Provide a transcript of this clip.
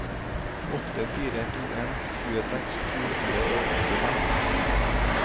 åtte fire to en tjueseks to hundre og åttifem